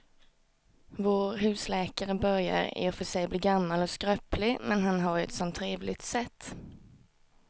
Vår husläkare börjar i och för sig bli gammal och skröplig, men han har ju ett sådant trevligt sätt!